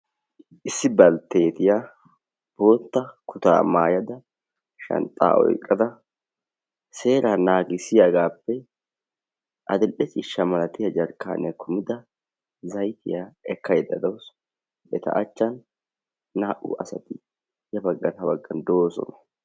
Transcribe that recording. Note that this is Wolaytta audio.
issi balttetiya bootta kutaa maayada shanxxaa oyqada sera nagisiyaagape adil"e ciisha malatiya jarkaaniya kumida zaytiya ekkayda dawusu. Eta achchan naa"u asati ya baggan ha baggan doosona.